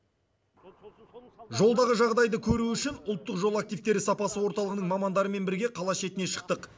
жолдағы жағдайды көру үшін ұлттық жол активтері сапасы орталығының мамандарымен бірге қала шетіне шықтық